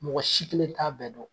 Mɔgɔ si kelen t'a bɛɛ don.